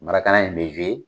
in be